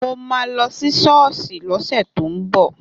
Mo ma lọ sí sọ́ọ́sì lọ́sẹ̀ tó ń bọ̀